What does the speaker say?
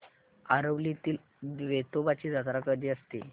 आरवलीतील वेतोबाची जत्रा कशी असते